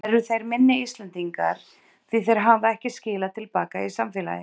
Eru þeir minni Íslendingar því þeir hafa ekki skilað til baka í samfélagið?